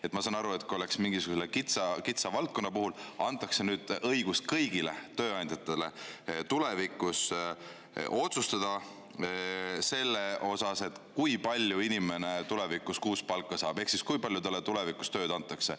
Ma saaksin aru, kui see oleks mingisugusele kitsa valdkonna puhul, aga nüüd antakse kõigile tööandjatele õigus otsustada selle üle, kui palju inimene kuus palka saab ehk siis kui palju talle tulevikus tööd antakse.